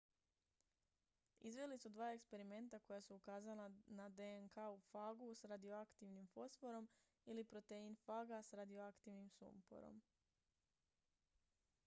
izveli su dva eksperimenta koja su ukazala na dnk u fagu s radioaktivnim fosforom ili protein faga s radioaktivnim sumporom